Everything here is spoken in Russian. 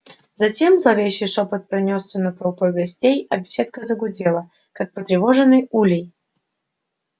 затем зловещий шёпот пронёсся над толпой гостей а беседка загудела как потревоженный улей